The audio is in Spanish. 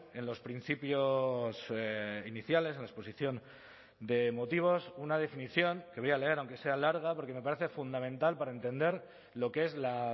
en los principios iniciales en la exposición de motivos una definición que voy a leer aunque sea larga porque me parece fundamental para entender lo que es la